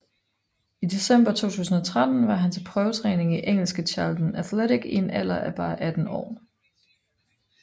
I december 2013 var han til prøvetræning i engelske Charlton Athletic i en alder af bare 18 år